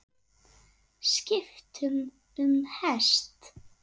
Skipt um hest.